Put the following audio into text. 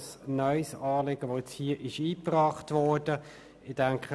Es handelt sich also um ein neues Anliegen.